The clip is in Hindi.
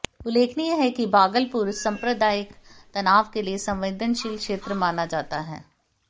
उल्लेखनीय है कि भागलपुर संप्रदायिक तनाव के लिए संवेदनशील क्षेत्र माना जाता है